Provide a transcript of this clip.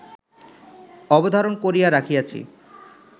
অবধারণ করিয়া রাখিয়াছি